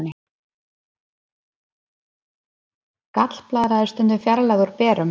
Gallblaðra er stundum fjarlægð úr berum.